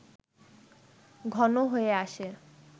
ঘন হয়ে আসে